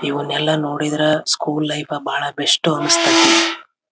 ಇಲ್ಲಿ ಖಿಡಕಿಗಳು ಇದೆ ಇಲ್ಲಿ ಎಲ್ಲ ಮೇಲೆ ಚಿತ್ರಗಳು ಅಂಟಿಸಿದಾರೆ.